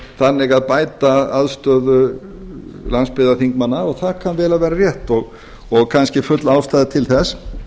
þannig að bæta aðstöðu landsbyggðarþingmanna og það kann vel að vera rétt og kannski full ástæða til þess